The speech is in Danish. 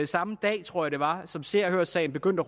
samme dag tror jeg det var som se og hør sagen begyndte